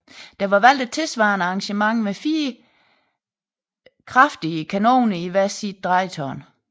Der var valgt et tilsvarende arrangement med fire kraftige kanoner i hvert sit drejetårn